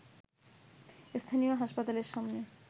স্থানীয় হাসপাতালের সামনে